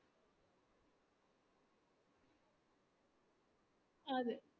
ആതേ